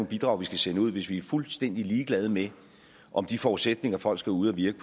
bidrag vi skal sende ud hvis vi er fuldstændig ligeglade med om de forudsætninger folk skal ud at virke